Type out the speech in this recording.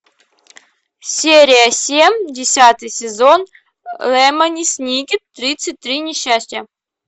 серия семь десятый сезон лемони сникет тридцать три несчастья